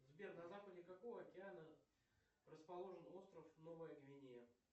сбер на западе какого океана расположен остров новая гвинея